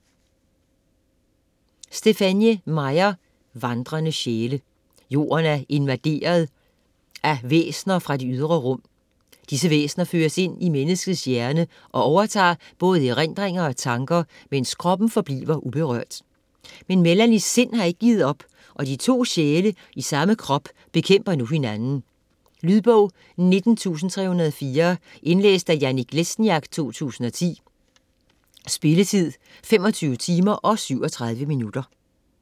Meyer, Stephenie: Vandrende sjæle Jorden er invaderet af væsener fra det ydre rum. Disse væsener føres ind i menneskets hjerne og overtager både erindringer og tanker, mens kroppen forbliver uberørt. Men Melanies sind har ikke givet op, og de to sjæle i samme krop bekæmper nu hinanden. Lydbog 19304 Indlæst af Jannik Lesniak, 2010. Spilletid: 25 timer, 37 minutter.